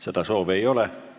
Seda soovi ei ole.